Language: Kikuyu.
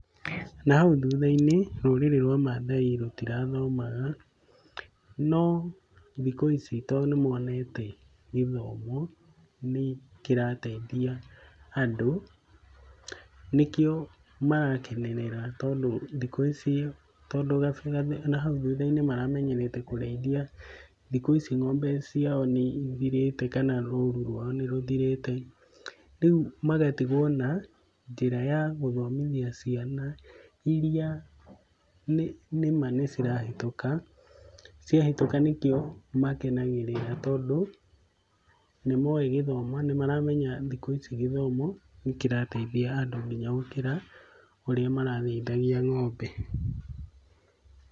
Na hau thutha-inĩ rũrĩrĩ rwa Mathai rũtirathomaga no thikũ ici to nĩ monete gĩthomo nĩ kĩrateithia andũ nĩkĩo marakenerera tondũ thikũ ici, tondũ na hau thutha-inĩ maramenyerete kũrĩĩthia. Thikũ ici ng'ombe ciao nĩ ĩthirĩte kana rũru rwao nĩ rũthirĩte, rĩu magatigwo na njĩra ya gũthomithia ciana iria nĩma nĩ marahĩtũka, cia hĩtũka nĩkio makenagĩrĩra tondũ nĩ moĩ gĩthomo nĩ maramenya thikũ ici gĩthomo nĩkĩrateithia andũ nginya gũkĩra ũrĩa mararĩithagia ng'ombe.